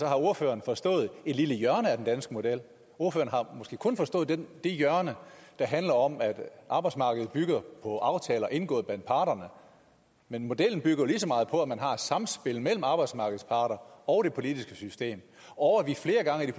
har ordføreren forstået et lille hjørne af den danske model ordføreren har måske kun forstået det hjørne der handler om at arbejdsmarkedets bygger på aftaler indgået blandt parterne men modellen bygger jo lige så meget på at man har et samspil mellem arbejdsmarkedets parter og det politiske system og at vi flere gange i det